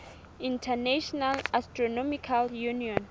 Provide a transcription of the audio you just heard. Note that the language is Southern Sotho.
international astronomical union